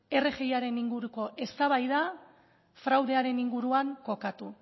rgi aren inguruko eztabaida fraudearen inguruan kokatu